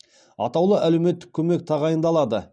атаулы әлеуметтік көмек тағайындалады